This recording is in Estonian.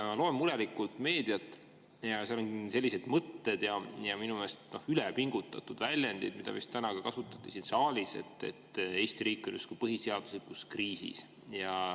Ma loen murelikult meediat ja seal on sellised mõtted, minu meelest ülepingutatud väljendid, mida täna vist ka siin saalis kasutati, et Eesti riik on justkui põhiseaduslikus kriisis.